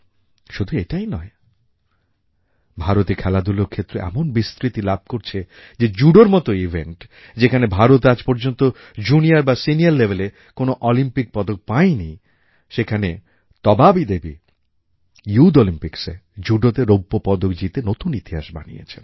শুধু এটাই নয় ভারতে খেলাধূলার ক্ষেত্র এমন বিস্তৃতি লাভ করছে যে জুডোর মতো ইভেণ্ট যেখানে ভারত আজ পর্যন্ত জুনিয়র বা সিনিয়র লেভেলএ কোনও অলিম্পিক পদক পায়নি সেখানে তবাবী দেবী ইউথ Olympicsএ জুডোতে রৌপ্যপদক জিতে নূতন ইতিহাস বানিয়েছেন